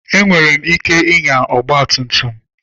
Enwere m ike ịnya ọgba tum tum.